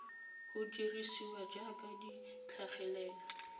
go dirisiwa jaaka di tlhagelela